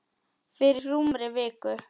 Fyrir rúmri viku.